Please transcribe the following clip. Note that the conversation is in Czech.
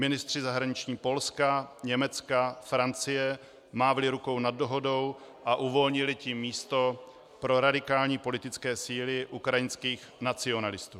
Ministři zahraničí Polska, Německa, Francie mávli rukou nad dohodou a uvolnili tím místo pro radikální politické síly ukrajinských nacionalistů.